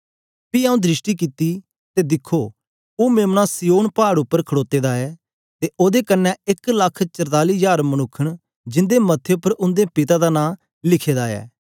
पी आऊँ दृष्टि कित्ती ते दिखो ओ मेम्ना सिय्योन पाड़ उपर खडोते दा ऐ ते ओदे कन्ने एक लख चरताली हजार मनुक्ख ऐ जिंदे मथे उपर उंदे पिता दा नां लिखे दा ऐ